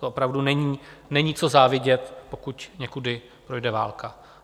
To opravdu není co závidět, pokud někudy projde válka.